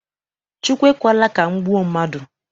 Chukwu ekwela ka m gbuo mmadụ.